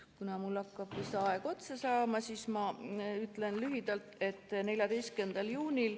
Kuna mul hakkab aeg otsa saama, siis ma ütlen lühidalt, et 14. juunil ...